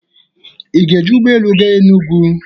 Ị ga-eji ụgbọ elu gaa Enugwu?